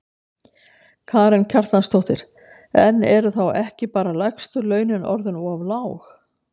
Karen Kjartansdóttir: En eru þá ekki bara lægstu launin orðin of lág?